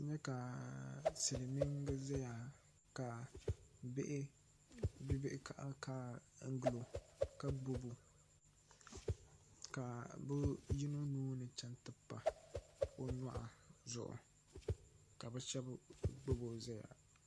N nyɛ ka silmiingi ʒɛya ka bihi kaɣakaɣa gilo ka gbubo ka bi yino nuuni chɛŋ ti pa o nyoɣu zuɣu ka bi shab gbubo ʒɛya